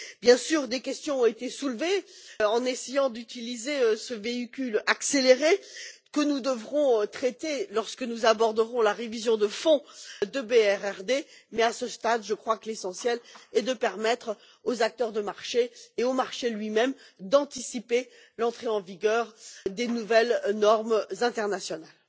Bien sûr, des questions ont été soulevées en essayant d'utiliser ce véhicule accéléré que nous devrons traiter lorsque nous aborderons la révision de fond de la directive BRRD mais, à ce stade, je crois que l'essentiel est de permettre aux acteurs du marché et au marché lui même d'anticiper l'entrée en vigueur des nouvelles normes internationales.